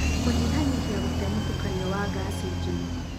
kũnyihanyihia gũte mũtukanio wa gasi njũro.